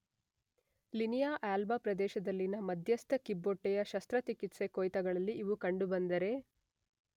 Linea alba ಪ್ರದೇಶದಲ್ಲಿನ ಮಧ್ಯಸ್ಥ ಕಿಬ್ಬೊಟ್ಟೆಯ ಶಸ್ತ್ರಚಿಕಿತ್ಸೆ ಕೊಯ್ತಗಳಲ್ಲಿ ಇವು ಕಂಡುಬಂದರೆ